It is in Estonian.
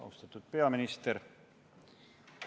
Austatud peaminister!